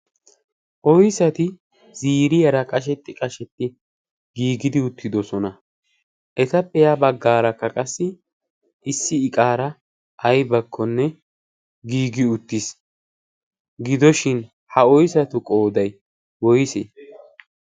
Oyissati ziiriyara qashetti qashetti giigidi uttidosona. Etappe ya baggaara qassi issi iqaara ayibakkonne giigi uttis. Gidishin ha oyissati qoyiday woyise?